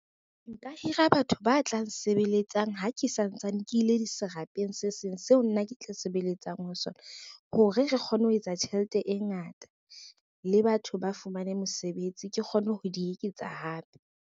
Nka hira batho ba tla nsebeletsang ha ke santsane ke ile serapeng se seng seo nna ke tla sebeletsang ho sona, hore re kgone ho etsa tjhelete e ngata le batho ba fumaneng mosebetsi, ke kgone ho di eketsa hape.